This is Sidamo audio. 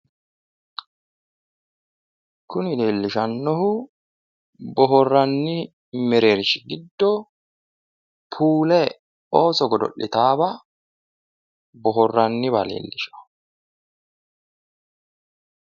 Kuni leellishannohu boohaarranni mereershshi giddo puule ooso godo'litaawa boohaaraywa leellishanno.